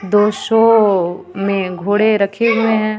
दो शो में घोड़े रखे हुए हैं.